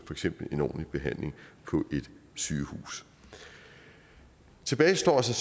eksempel en ordentlig behandling på et sygehus tilbage står så